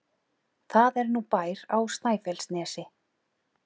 Það er nú bær á Snæfellsnesi!